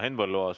Henn Põlluaas.